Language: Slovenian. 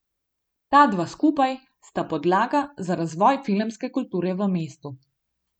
Ta dva skupaj sta podlaga za razvoj filmske kulture v mestu.